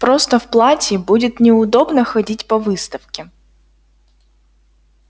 просто в платье будет неудобно ходить по выставке